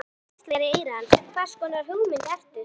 Rödd hvíslar í eyra hans: Hvers konar hugmynd ertu?